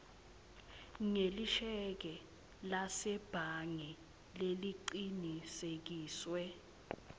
ngelisheke lasebhange lelicinisekisiwe